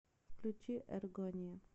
включи эргония